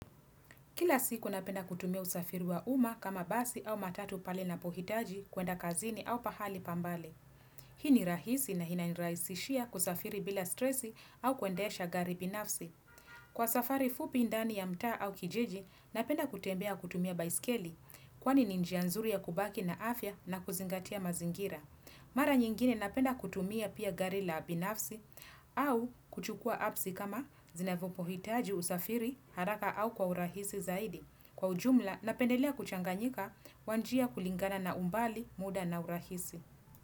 Kila siku napenda kutumia usafiri wa umma kama basi au matatu pale napohitaji kuenda kazini au pahali pa mbali. Hii ni rahisi na inanirahisishia kusafiri bila stresi au kuendesha gari binafsi. Kwa safari fupi ndani ya mtaa au kijiji napenda kutembea kutumia baiskeli kwani ni njia nzuri ya kubaki na afya na kuzingatia mazingira. Mara nyingine napenda kutumia pia gari la binafsi au kuchukua absi kama zinapohitaji usafiri haraka au kwa urahisi zaidi. Kwa ujumla napendelea kuchanganyika kwa njia kulingana na umbali muda na urahisi.